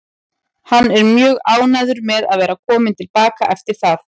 Hann er mjög ánægður með að vera kominn til baka eftir það.